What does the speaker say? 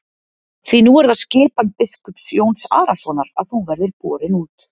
Því nú er það skipan biskups Jóns Arasonar að þú verðir borin út.